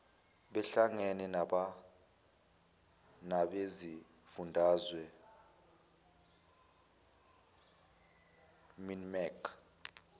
behlangene nabezifundazwe minmec